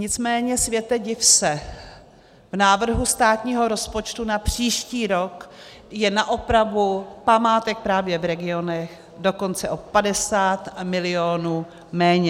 Nicméně, světe div se, v návrhu státního rozpočtu na příští rok je na opravu památek právě v regionech dokonce o 50 mil. méně.